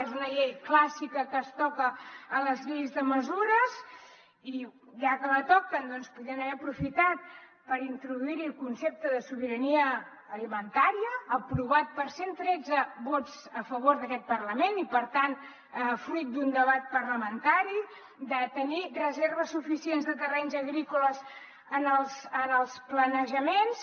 és una llei clàssica que es toca a les lleis de mesures i ja que la toquen podrien haver aprofitat per introduir hi el concepte de sobirania alimentària aprovat per cent tretze vots a favor d’aquest parlament i per tant fruit d’un debat parlamentari de tenir reserves suficients de terrenys agrícoles en els planejaments